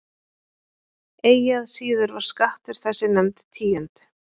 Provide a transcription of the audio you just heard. Eigi að síður var skattur þessi nefnd tíund.